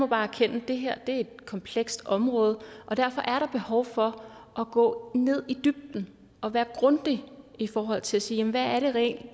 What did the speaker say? bare erkende at det her er et komplekst område og derfor er der behov for at gå i dybden og være grundig i forhold til at sige hvad er det reelt